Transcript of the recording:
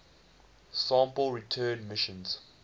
sample return missions